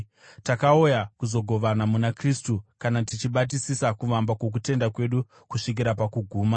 Takauya kuzogovana muna Kristu kana tichibatisisa kuvamba kwokutenda kwedu kusvikira pakuguma.